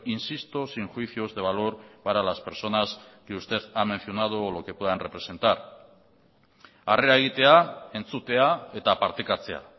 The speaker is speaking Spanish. insisto sin juicios de valor para las personas que usted ha mencionado o lo que puedan representar arrera egitea entzutea eta partekatzea